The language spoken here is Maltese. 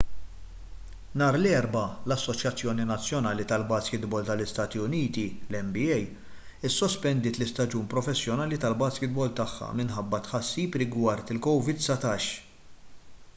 nhar l-erbgħa l-assoċjazzjoni nazzjonali tal-baskitbol tal-istati uniti nba issospendiet l-istaġun professjonali tal-baskitbol tagħha minħabba tħassib rigward covid-19